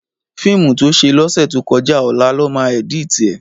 Fiimú tó sé lòsètókòjá òlá lòmá èditi è